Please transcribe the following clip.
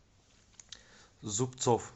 зубцов